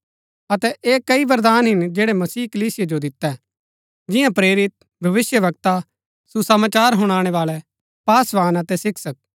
अतै ऐह कई वरदान हिन जैड़ै मसीह कलीसिया जो दितै जिन्या प्रेरित भविष्‍यवक्ता सुसमाचार हुनाणै बाळै पासवान अतै शिक्षक